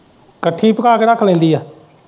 ਇੱਕਠੀ ਪਕਾ ਕੇ ਰੱਖ ਲੈਂਦੀ ਏ।